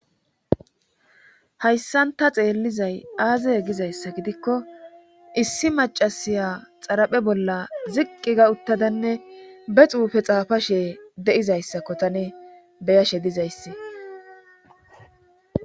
Hayssanta xeellizay aazey gizayssa gidikko issi macasiya xaraphe bolla ziqqi ga uttadanne be xuufe xaafashe de7izayssakko tane beyashe dizayssi